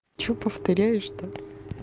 что повторяешь то